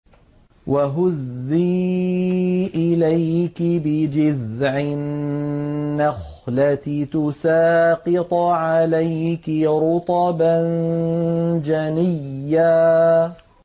وَهُزِّي إِلَيْكِ بِجِذْعِ النَّخْلَةِ تُسَاقِطْ عَلَيْكِ رُطَبًا جَنِيًّا